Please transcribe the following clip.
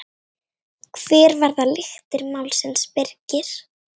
Hver verða lyktir málsins Birgir?